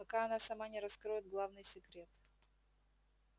пока она сама не раскроет главный секрет